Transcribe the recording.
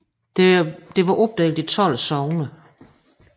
Det var opdelt i 12 sogne